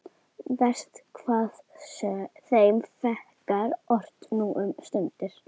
Verst hvað þeim fækkar ört nú um stundir.